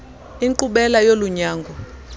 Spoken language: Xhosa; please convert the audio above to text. inkqubela yolu nyango